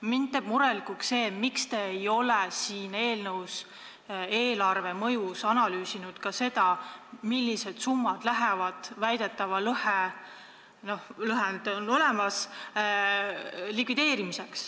Mind teeb murelikuks see, miks te ei ole eelnõu eelarvelise mõju all analüüsinud seda, millised summad lähevad väidetava lõhe – noh, see lõhe on olemas – likvideerimiseks.